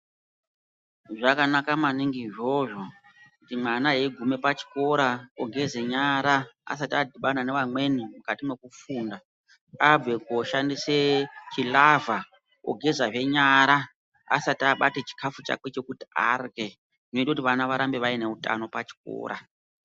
Zvakanaka maningi izvozvo kuti mwana eigume pachikora ogeza nyara asati adhibana nevamweni mukati mekufunda. Abve koshandise chilavha ogezazve nyara asati abate chikafu chakwe chekuti arye zvinoite kuti vana varambe vaine utano pachikora.